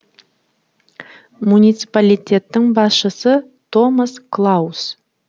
муниципалитеттің басшысы томас клаус